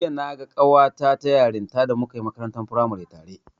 Jiya naga ƙawata ta yarinta da muka yi makarantar firamare tare.